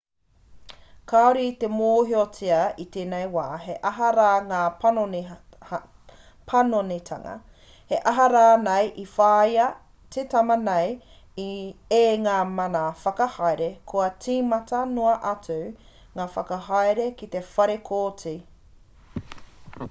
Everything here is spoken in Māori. kāore i te mōhiotia i tēnei wā he aha rā ngā panonitanga he aha rānei i whāia te tama nei e ngā mana whakahaere kua tīmata noa atu ngā whakahaere ki te whare kōti